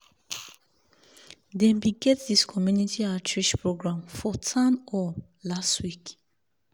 dem bin get this community outreach program for town hall last week